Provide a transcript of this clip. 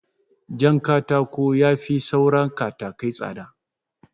Jankatako yafi saura katakai tsada